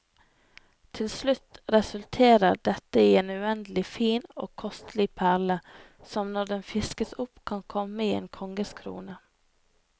Til slutt resulterer dette i en uendelig fin og kostelig perle, som når den fiskes opp kan komme i en konges krone.